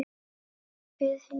Lifið heil.